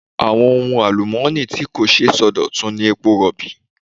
Àwọn ohun àlùmọ́ọ́nì tí kò ṣeé sọdọ̀tun ni epo Rọ̀bì.